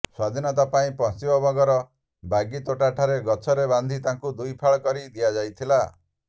ସ୍ୱାଧୀନତା ପାଇଁ ପଶ୍ଚିମବଙ୍ଗର ବାଗିତୋଟା ଠାରେ ଗଛରେ ବାନ୍ଧି ତାଙ୍କୁ ଦୁଇଫାଳ କରି ଦିଆଯାଇଥିଲା